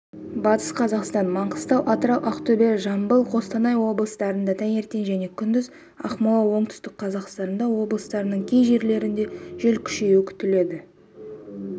батыс қазақстан маңғыстау атырау ақтөбе жамбыл қостанай облыстарында таңертең және күндіз ақмола оңтүстік қазақстан облыстарының кей жерлерінде жел күшеюі күтіледі